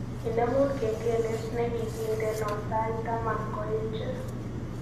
Inemu kengelet negigindeno sait taman ngoeche